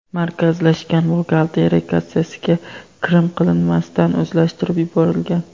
markazlashgan buxgalteriya kassasiga kirim qilinmasdan o‘zlashtirib yuborilgan.